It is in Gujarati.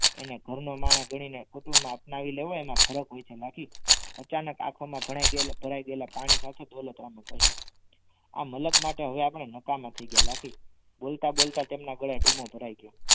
એને ઘરનો માણસ ગણીને કુટુંબમાં અપનાવી લેવો એમાં ફરક હોય છે લાખી અચાનક આખો મા ભરાગયેલા ભરાગયેલા પાણી સાથે ડોલતરામ એ કહ્યુ આ મલક માટે આપણે નાકકમા થઈ ગયા લાખી બોલતા બોલતા તેમના ગદે ધૂમમો ભરાઈ ગયો